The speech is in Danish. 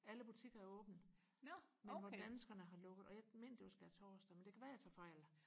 alle butikker har åbne men hvor danskerne har lukket og jeg mener det var skærtorsdag men det kan være jeg tager fejl